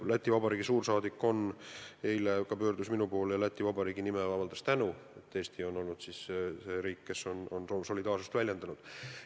Läti Vabariigi suursaadik pöördus eile minu poole Läti Vabariigi nimel ja avaldas tänu, et Eesti on olnud see riik, kes on solidaarsust väljendanud.